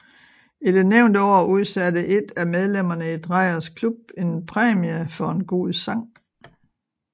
I det nævnte år udsatte et af medlemmerne i Drejers Klub en præmie for en god sang